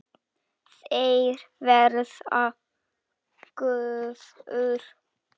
Þeir verða gufur.